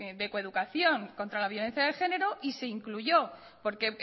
de coeducación contra la violencia de género y se incluyó porque